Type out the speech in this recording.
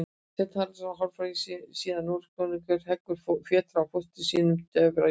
Sveinninn Haraldur hárfagri, síðar Noregskonungur, heggur fjötra af fóstra sínum, Dofra jötni.